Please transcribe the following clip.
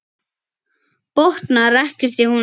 Botnar ekkert í honum.